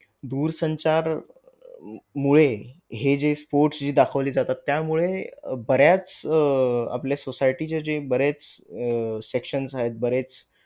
दूरसंचारमुळे हे जे sports जे दाखवली जातात त्यामुळे बऱ्याच आपल्या society चे जे बरेच अह sections आहेत बरेच